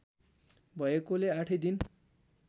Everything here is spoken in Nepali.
भएकोले आठै दिन